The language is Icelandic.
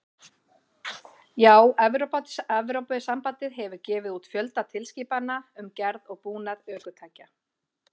Já, Evrópusambandið hefur gefið út fjölda tilskipana um gerð og búnað ökutækja.